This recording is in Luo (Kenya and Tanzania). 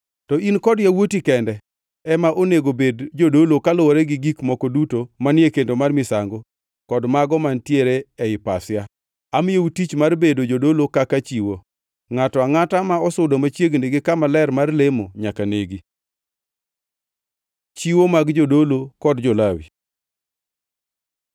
To in kod yawuoti kende ema onego bed jodolo kaluwore gi gik moko duto manie kendo mar misango kod mago mantiere ei pasia. Amiyou tich mar bedo jodolo kaka chiwo. Ngʼato angʼata ma osudo machiegni gi kama ler mar lemo nyaka negi.” Chiwo mag jodolo kod jo-Lawi